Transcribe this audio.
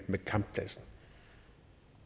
med kamppladsen